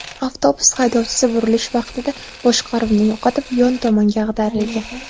Avtobus haydovchisi burilish vaqtida boshqaruvni yo‘qotib, yon tomonga ag‘darilgan.